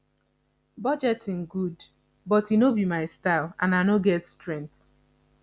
budgeting good but e no be my style and i no get strength